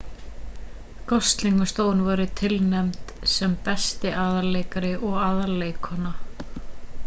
gosling og stone voru tilnefnd sem besti aðalleikari og aðalleikkona